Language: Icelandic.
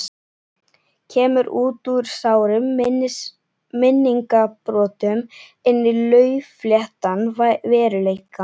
Kemur út úr sárum minningabrotum inn í laufléttan veruleikann.